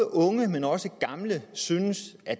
unge men også gamle synes at